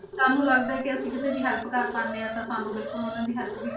ਸਾਨੂੰ ਲੱਗਦਾ ਹੈ ਕਿ ਅਸੀਂ ਕਿਸੇ ਦੀ help ਕਰ ਪਾਉਂਦੇ ਹਾਂ ਤਾਂ ਸਾਨੂੰ ਬਿਲਕੁਲ ਉਹਨਾਂ ਦੀ help ਵੀ